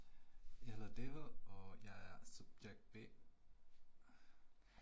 Jeg hedder David og jeg er subjekt B